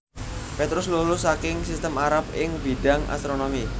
Petrus lulus saking sistem Arab ing bidhang astronomi